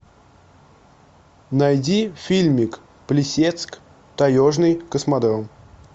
найди фильмик плесецк таежный космодром